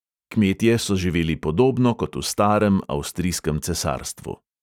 Kmetje so živeli podobno kot v starem avstrijskem cesarstvu.